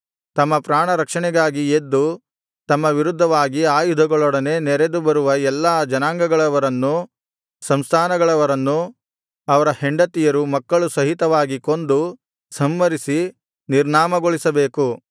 ತಮ್ಮ ಪ್ರಾಣರಕ್ಷಣೆಗಾಗಿ ಎದ್ದು ತಮ್ಮ ವಿರುದ್ಧವಾಗಿ ಆಯುಧಗಳೊಡನೆ ನೆರೆದು ಬರುವ ಎಲ್ಲಾ ಜನಾಂಗಗಳವರನ್ನೂ ಸಂಸ್ಥಾನಗಳವರನ್ನೂ ಅವರ ಹೆಂಡತಿಯರು ಮಕ್ಕಳು ಸಹಿತವಾಗಿ ಕೊಂದು ಸಂಹರಿಸಿ ನಿರ್ನಾಮಗೊಳಿಸಬೇಕು